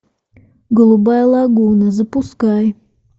голубая лагуна запускай